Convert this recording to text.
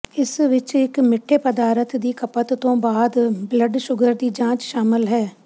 ਇਸ ਵਿਚ ਇਕ ਮਿੱਠੇ ਪਦਾਰਥ ਦੀ ਖਪਤ ਤੋਂ ਬਾਅਦ ਬਲੱਡ ਸ਼ੂਗਰ ਦੀ ਜਾਂਚ ਸ਼ਾਮਲ ਹੈ